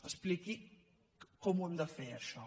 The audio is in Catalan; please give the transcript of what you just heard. expliqui com ho hem de fer això